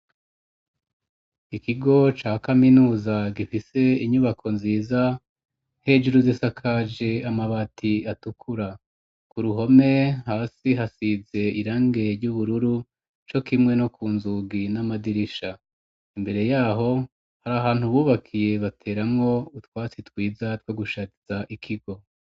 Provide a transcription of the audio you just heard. Ikigo ca kaminuza gifise inyubako nziza hejuru z'isakaje amabati atukura ku ruhome hasi hasize irange ry'ubururu co kimwe no ku nzugi n'amadirisha imbere yaho hari ahantu bubakiye bateramwo utwasi twiza two gushatiza ikigo.